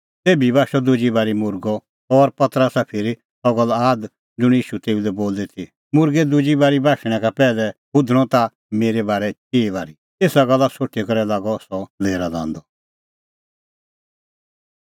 तेभी बाशअ दुजी बारी मुर्गअ और पतरसा फिरी सह गल्ल आद ज़ुंण ईशू तेऊ लै बोली ती मुर्गै दुजी बारी बाशणैं का पैहलै हुधणअ ताह मेरै बारै चिई बारी एसा गल्ला सोठी करै लागअ सह लेरा लांदअ